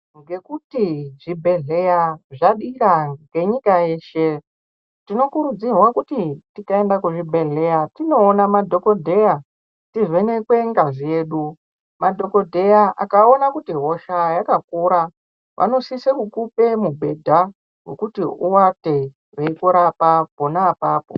Ngekuti zvibhedhleya zvadira ngenyika yeshe tinokurudzirwa kuti tikaenda kuchibhedhleya tinoona mafhokodheya tivhenekwe ngazi yedu madhokodheya akaone kuti hosha yakakura vanosise kukupe mubhedha wekuti uwate weiirwapwa pa pona apapo .